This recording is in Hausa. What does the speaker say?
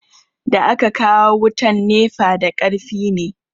Da aka kawo wutan nefa da karfi ne